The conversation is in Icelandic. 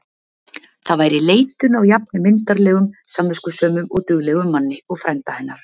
Það væri leitun á jafn myndarlegum, samviskusömum og duglegum manni og frænda hennar.